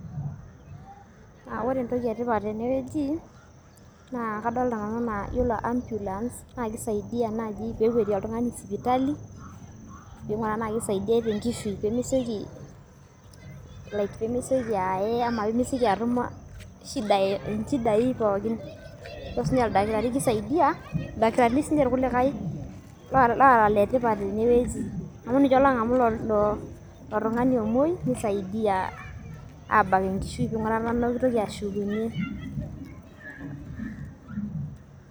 Aa ore entoki etipat tenewueji naa kadolita nanu enaa yiolo ambulance naa kisaidia naai pee ekuatie oltung'ani sipitali pee ing'uraa enaa kisaidiai tenkishui pee mesioki like pee mesioki aye ama atum nchidai pookin ore siinye oldakitari kisaidia, ildakirini siinche irkulikai loora iletipat tenewueji amu ninche oong'amu ilo tung'ani omuoi nisaidia abak enkishui aing'uraa ena kitoki ashukunyie.